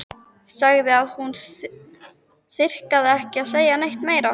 Sagði að hún þyrfti ekki að segja neitt meira.